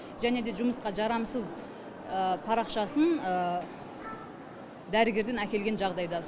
және де жұмысқа жарамсыз парақшасын дәрігерден әкелген жағдайда